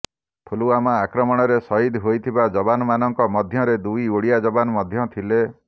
ପୁଲଓ୍ୱାମା ଆକ୍ରମଣରେ ସହିଦ ହୋଇଥିବା ଯବାନମାନଙ୍କ ମଧ୍ୟରେ ଦୁଇ ଓଡ଼ିଆ ଯବାନ ମଧ୍ୟ ଥିଲେ